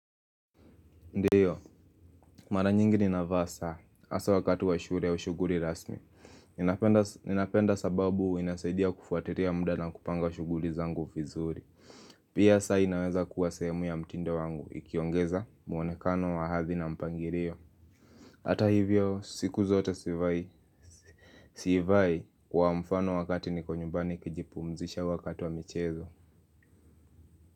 Ndiyo, mara nyingi ni navaa saa, hasa wakati wa shule au shughuli rasmi ninapenda. Ninapenda sababu inasaidia kufuatilia muda na kupanga wa shughuli zangu vizuri. Pia saa inaweza kuwa sehemu ya mtindo wangu, ikiongeza muonekano wa hathi na mpangilio. Hata hivyo, siku zote sivai. Siivai kwa mfano wakati niko nyumbani kijipumzisha wakati wa michezo.